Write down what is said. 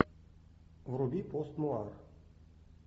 вруби постнуар